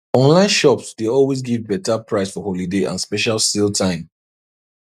online shops dey always give better price for holiday and special sale time